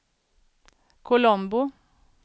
Colombo